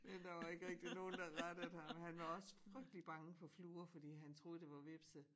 Ja der var ikke rigtig nogen der rettede ham han var også frygtlig bange for fluer fordi han troede det var hvepse